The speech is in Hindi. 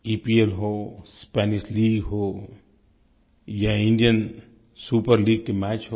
ईपीएल हो स्पैनिश लीग हो या इंडियन सुपर लीग के मैच हो